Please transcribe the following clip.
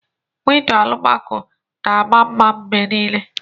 Windo alumaco na ama mma mgbe niile